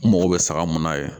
N mago bɛ saga mun na yen